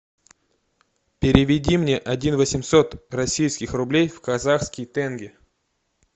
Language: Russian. переведи мне один восемьсот российских рублей в казахский тенге